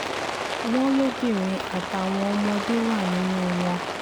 wọ́n lóbìnrin àtàwọn ọmọdé wà nínú wọn